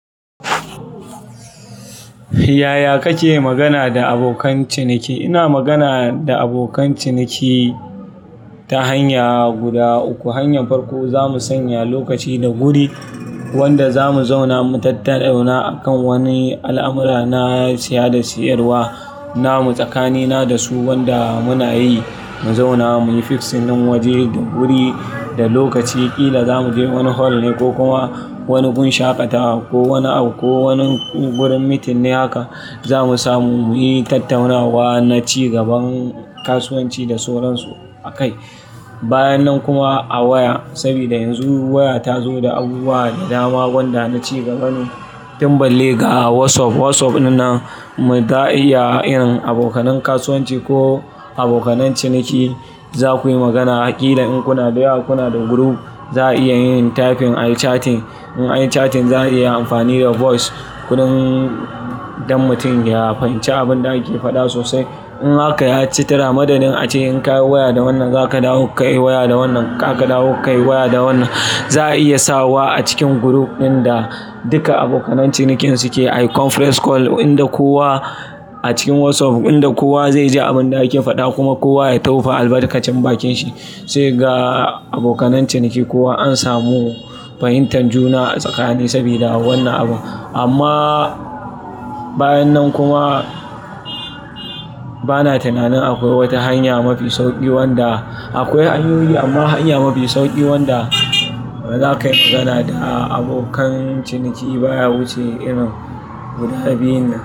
Yaya kake magana da abokan ciniki? Ina magana da abokan ciniki ta hanya guda uku. Hanyan farko, zamu sanya lokaci da wuri wanda zamu zauna mu tattauna a kan wani al'amura na saya da siyarwa namu tsakanina da su, wanda muna yi mu zauna muyi fixing waje, wuri da lokaci ƙila zamu je wani hol ne ko kuma wani wurin shaƙatawa ko wani ko wani wurin meeting ne haka zamu samu muyi tattaunawa na ci gaban kasuwanci da sauransu a kai. Bayan nan kuma a waya, sabida yanzu waya ta zo da abubuwa da dama wanda na ci gaba ne tin balle ga WhatsApp. WhatsApp ɗinnan mu za'a iya yin abokanai kasuwanci ko abokanai ciniki. Zaku yi magana ƙila in kunada yawa, kunada group za a iya yin typing, ayi chatting. In ayi chatting za a iya amfani da voice, kuɗin dan mutum ya fahimci abinda ake faɗa sosai. In haka ya citara madadin ace in ka yi waya da wannan, za ka dawo ka yi waya da wannan, ka ka dawo ka yi waya da wannan. Za a iya sawa a cikin group ɗin da duka abokanai cinikin suke ayi conference call inda kowa a cikin WhatsApp inda kowa zaiji abinda ake faɗa kuma kowa ya tofa albarkacin bakinshi. Ace ga abokanai ciniki kowa an samu fahimtar juna tsakanin su sabida wannan abu. Amma bayan nan kuma bana tunanin akwai wata hanya mafi sauƙi wanda akwai hanyoyi amma hanya mafi sauƙi wanda za ka yi magana da abokan ciniki baya wuce irin guda biyu nan.